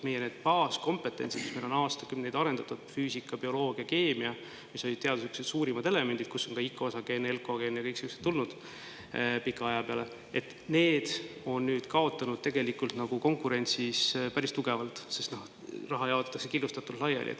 Meie baaskompetentsid, mida meil on aastakümneid arendatud – füüsika, bioloogia, keemia, mis on olnud meie teaduse suurimad elemendid ja kust on aja jooksul tulnud ka Icosagen, Elcogen ja muud sellised –, on nüüd konkurentsis päris tugevalt kaotanud, sest raha jaotatakse killustatult laiali.